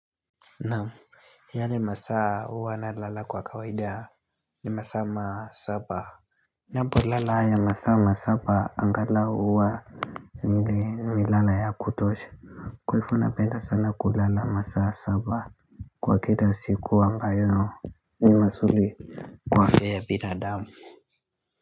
Naam, yale masaa huwa nalala kwa kawaida ni masaa masaba Ninapolala haya masaa masaba angalau huwa mwili nimelala ya kutosha kwa hivyo napenda sana kulala masaa saba Kwa kila siku ambayo ni mazuri Kwa afya binadamu.